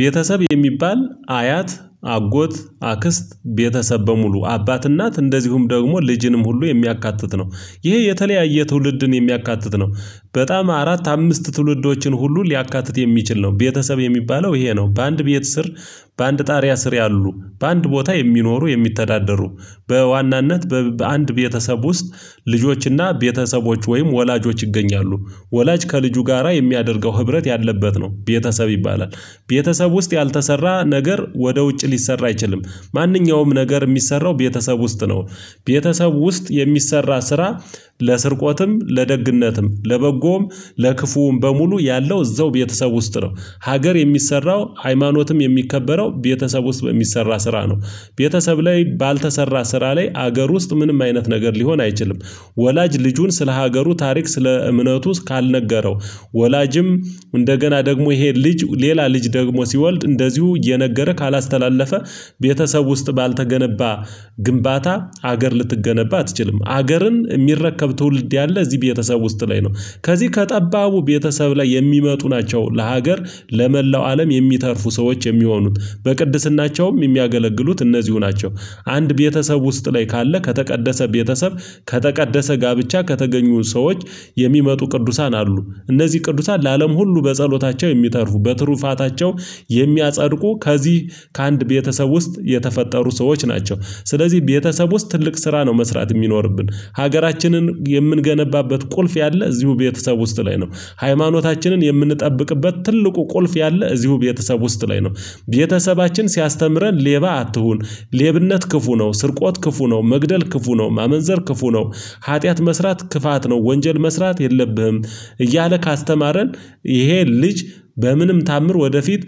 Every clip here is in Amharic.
ቤተሰብ የሚባል አያት አጎት አክስት ቤተሰብ በሙሉ አባት እናት እንደዚሁም ደግሞ ልጅንም ሁሉ የሚያካትት ነው ይሄ የተለያየ ትውልድን የሚያካትት ነው። በጣም አራት አምስት ትውልዶችን ሁሉ ሊያካትት የሚችል ነው ቤተሰብ የሚባለው ይሄ ነው። በአንድ ቤት ስር በአንድ ጣሪያ ስር ያሉ በአንድ ቦታ የሚኖሩ የሚተዳደሩ በዋናነት በአንድ ቤተሰብ ውስጥ ልጆችና ቤተሰቦች ወይም ወላጆች ይገኛሉ ወላጅ ከልጁ ጋራ የሚያደርገው ህብረት ያለበት ነው ቤተሰብ ይባላል። ቤተሰብ ውስጥ ያልተሰራ ነገር ወደ ውጭ ሊሰራ አይችልም ማንኛውም ነገር የሚሰራው ቤተሰብ ውስጥ ነው። ቤተሰብ ውስጥ የሚሰራ ስራ ለስርቆትም ለደግነትም ለበጎም ለክፉውም በሙሉ ያለው እዛው ቤተሰብ ውስጥ ነው። ሀገር የሚሰራው ሃይማኖትም የሚከበረው ቤተሰብ ውስጥ በሚሰራ ስራ ነው። ቤተሰብ ላይ ባልተሰራ ስራ ላይ ሀገር ውስጥ ምንም አይነት ነገር ሊሆን አይችልም። ወላጅ ልጁን ስለ ሀገሩ ታሪክ ስለ እምነቱ እስካልነገረው ወላጅም እንደገና ደግሞ ይሄ ልጅ ሌላ ልጅ ደግሞ ሲወልድ እንደዚሁ እየነገረ ካላስተላለፈ። ቤተሰብ ውስጥ ባልተገነባ ግንባታ ሀገር ልትገነባ አትችልም ሀገርን የሚረከብ ትውልድ ያለ እዚህ ቤተሰብ ውስጥ ላይ ነው። ከዚህ ከጠባቡ ቤተሰብ ላይ የሚመጡ ናቸው ለሀገር ለመላው አለም የሚተርፉ ሰዎች የሚሆኑት በቅድስናቸውም የሚያገለግሉት እነዚሁ ናቸው። አንድ ቤተሰብ ውስጥ ላይ ካለ ከተቀደሰ ቤተሰብ ከተቀደሰ ጋብቻ ከተገኙ ሰዎች የሚመጡ ቅዱሳን አሉ እነዚህ ቅዱሳን ለአለም ሁሉ በጸሎታቸው የሚተርፉ በትሩፋታቸው የሚያጸድቁ ከዚህ ከአንድ ቤተሰብ ውስጥ የተፈጠሩ ሰዎች ናቸው። ስለዚህ ቤተሰብ ውስጥ ትልቅ ስራ ነው መስራት የሚኖርብን ሀገራችንን የምንገነባበት ቁልፍ ያለ እዚሁ ቤተሰብ ውስጥ ላይ ነው። ሃይማኖታችንን የምንጠብቅበት ትልቁ ቁልፍ ያለ እዚሁ ቤተሰብ ውስጥ ላይ ነው። ቤተሰባችን ሲያስተምረን ሌባ አትሁን ሌብነት ክፉ ነው ስርቆት ክፉ ነው መግደል ክፉ ነው ማመንዘር ክፉ ነው። ኃጢአት መስራት ክፋት ነው ወንጀል መስራት የለብህም እያለ ካስተማረን። ይሄ ልጅ በምንም ተአምር ወደፊት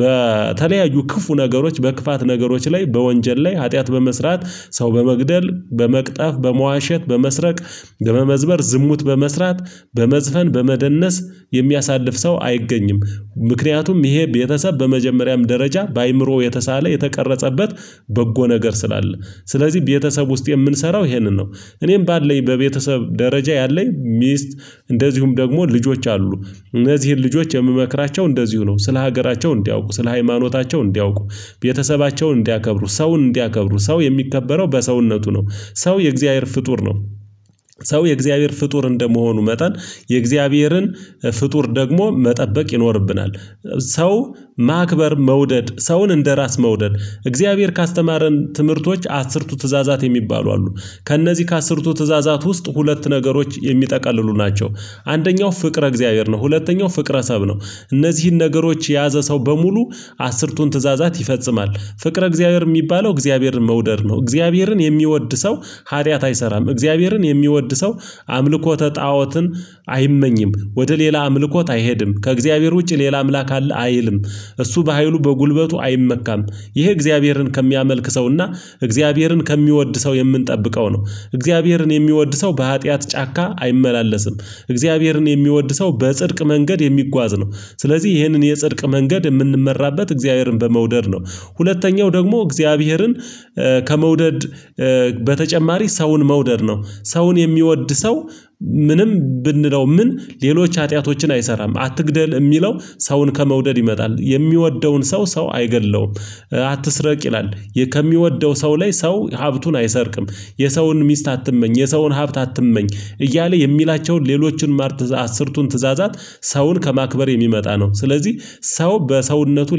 በተለያዩ ክፉ ነገሮች በክፋት ነገሮች ላይ በወንጀል ላይ ኃጢአት በመስራት ሰው በመግደል በመቅጠፍ በመዋሸት በመስረቅ በመመዝበር ዝሙት በመስራት በመዝፈን በመደነስ የሚያሳልፍ ሰው አይገኝም። ምክንያቱም ይሄ ቤተሰብ በመጀመሪያም ደረጃ በአእምሮ የተሳለ የተቀረጸበት በጎ ነገር ስላለ ስለዚህ ቤተሰብ ውስጥ የምንሰራው ይሄንን ነው። እኔም ባለኝ በቤተሰብ ደረጃ ያለኝ ሚስት እንደዚሁም ደግሞ ልጆች አሉ እነዚህን ልጆች የምመክራቸው እንደዚሁ ነው ስለ ሀገራቸው እንዲያውቁ ስለ ሃይማኖታቸው እንዲያውቁ። ቤተሰባቸውን እንዲያከብሩ ሰውን እንዲያከብሩ ሰው የሚከበረው በሰውነቱ ነው። ሰው የእግዚአብሔር ፍጡር ነው። ሰው የእግዚአብሔር ፍጡር እንደመሆኑ መጠን የእግዚአብሔርን ፍጡር ደግሞ መጠበቅ ይኖርብናል። ሰው ማክበር መውደድ ሰውን እንደራስ መውደድ እግዚአብሔር ካስተማረን ትምህርቶች አስርቱ ትእዛዛት የሚባሉ አሉ። ከእነዚህ ከአስርቱ ትእዛዛት ውስጥ ሁለት ነገሮች የሚጠቅልሉ ናቸው። አንደኛው ፍቅረ እግዚአብሔር ነው ሁለተኛው ፍቅረሰብ ነው። እነዚህን ነገሮች የያዘ ሰው በሙሉ አስርቱን ትእዛዛት ይፈጽማል። ፍቅረ እግዚአብሔር የሚባለው እግዚአብሔርን መውደድ ነው። እግዚአብሔርን የሚወድ ሰው ሀጢያት አይሰራም እግዚአብሔርን የሚወድ ሰው አምልኮተ ጣኦትን አይመኝም ወደ ሌላ አምልኮት አይሄድም ከእግዚአብሔር ውጪ ሌላ አምላክ አለ አይልም። እሱ በሃይሉ በጉልበቱ አይመካም። ይህ እግዚአብሔርን ከሚያመልክ ሰውና እግዚአብሔርን ከሚወድ ሰው የምንጠብቀው ነው። እግዚአብሔርን የሚወድ ሰው በሀጥያት ጫካ አይመላለስም። እግዚአብሔርን የሚወድ ሰው በጽድቅ መንገድ የሚጓዝ ነው። ስለዚህ ይህንን የጽድቅ መንገድ የምንመራበት እግዚአብሔርን በመውደድ ነው። ሁለተኛው ደግሞ እግዚአብሔርን ከመውደድ በተጨማሪ ሰውን መውደድ ነው። ሰውን የሚወድ ሰው ምንም ብንለው ምን ሌሎች ሀጢያቶችን አይሰራም አትግደል የሚለው ሰውን ከመውደድ ይመጣል የሚወደውን ሰው ሰው አይገድለውም። አትስረቅ ይላል። ከሚወደው ሰው ላይ ሰው ሀብቱን አይሰርቅም። የሰውን ሚስት አትመኝ የሰውን ሀብት አትመኝ እያለ የሚላቸውን ሌሎችን ማር ትዕዛዛት አስርቱን ትዕዛዛት ሰውን ከማክበር የሚመጣ ነው። ስለዚህ ሰው በሰውነቱ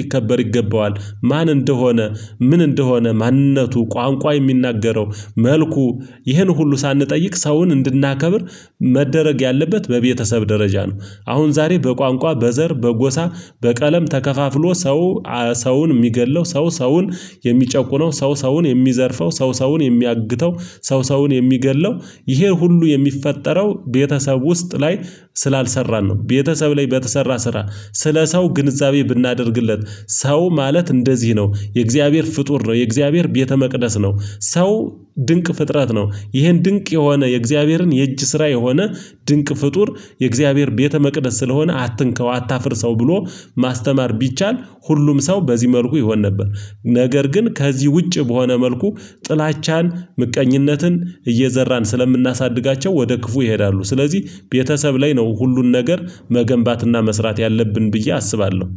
ሊከበር ይገባዋል። ማን እንደሆነ ምን እንደሆነ ማንነቱ ቋንቋ የሚናገረው መልኩ ይህን ሁሉ ሳንጠይቅ ሰውን እንድናከብር መደረግ ያለበት በቤተሰብ ደረጃ ነው። አሁን ዛሬ በቋንቋ በዘር በጎሳ በቀለም ተከፋፍሎ ሰው ሰውን የሚገድለው ሰው ሰውን የሚጨቁነው ሰው ሰውን የሚዘርፈው ሰው ሰውን የሚያግተው ሰው ሰውን የሚገድለው ይሄን ሁሉ የሚፈጠረው ቤተሰብ ውስጥ ላይ። ስላልሰራን ነው ቤተሰብ ላይ በተሰራ ስራ ስለ ሰው ግንዛቤ ብናደርግለት ሰው ማለት እንደዚህ ነው የእግዚአብሔር ፍጡር ነው የእግዚአብሔር ቤተ መቅደስ ነው። ሰው ድንቅ ፍጥረት ነው ይሄን ድንቅ የሆነ የእግዚአብሔርን የእጅ ስራ የሆነ ድንቅ ፍጡር የእግዚአብሔር ቤተ መቅደስ ስለሆነ አትንከው አታፍርሰው ብሎ ማስተማር ቢቻል ሁሉም ሰው በዚህ መልኩ ይሆን ነበር። ነገር ግን ከዚህ ውጪ በሆነ መልኩ ጥላቻን ምቀኝነትን እየዘራን ስለምናሳድጋቸው ወደ ክፉ ይሄዳሉ። ስለዚህ ቤተሰብ ላይ ነው ሁሉን ነገር መገንባትና መስራት ያለብን ብዬ አስባለሁ